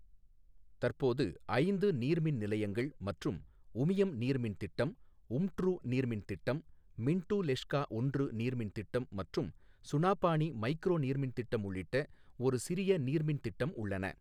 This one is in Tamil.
தற்போது ஐந்து நீர்மின் நிலையங்கள் மற்றும் உமியம் நீர்மின் திட்டம், உம்ட்ரூ நீர்மின் திட்டம், மின்ட்டு லெஷ்கா ஒன்று நீர்மின் திட்டம் மற்றும் சுனாபானி மைக்ரோ நீர்மின் திட்டம் உள்ளிட்ட ஒரு சிறிய நீர்மின் திட்டம் உள்ளன.